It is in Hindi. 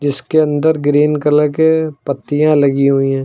जिसके अंदर ग्रीन कलर के पत्तियां लगी हुई हैं।